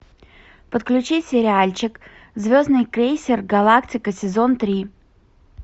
подключи сериальчик звездный крейсер галактика сезон три